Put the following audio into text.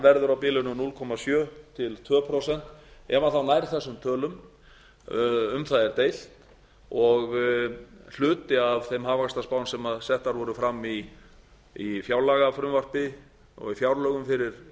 verður á bilinu núll komma sjö til tvö prósent ef hann þá nær þessum tölum um það er deilt og hluti af þeim hagvaxtarspám sem settar voru fram í fjárlagafrumvarpi og í fjárlögum fyrir